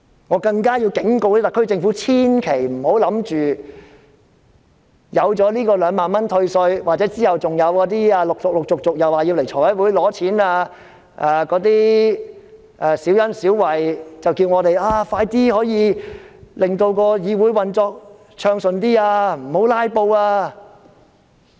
我更要警告特區政府，千萬不要以為有這2萬元退稅的措施，或之後陸續前來財務委員會申請撥款的小恩小惠，便可叫我們令議會運作比較暢順，不要"拉布"。